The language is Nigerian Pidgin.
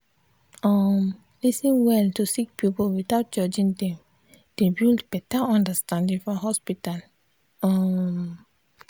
um lis ten well to sik pipul without judging dem dey build beta understanding for hospital. um